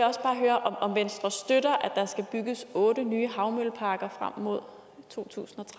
høre om venstre støtter at der skal bygges otte nye havmølleparker frem mod totusinde